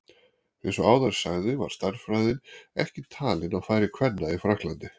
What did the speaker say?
Eins og áður sagði var stærðfræði ekki talin á færi kvenna í Frakklandi.